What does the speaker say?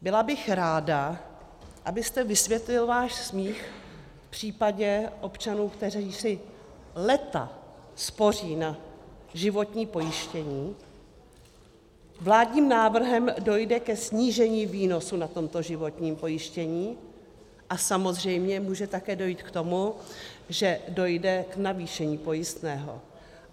Byla bych ráda, abyste vysvětlil váš smích v případě občanů, kteří si léta spoří na životní pojištění, vládním návrhem dojde ke snížení výnosu na tomto životním pojištění a samozřejmě může také dojít k tomu, že dojde k navýšení pojistného.